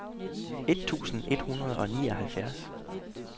et tusind et hundrede og nioghalvtreds